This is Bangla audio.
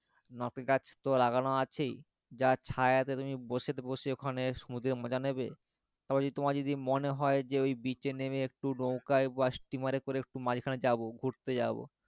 নটেগাছ তো লাগানো আছেই যার ছায়াতে তুমি বসে বসে ওখানে সমুদ্রের মজা নেবে তারপরে তোমার যদি মনে হয় ওই beach এ নেমে একটু নৌকায় বা স্টিমারে করে একটু মাঝখানে যাব ঘুরতে যাব.